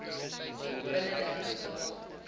binne dertig dae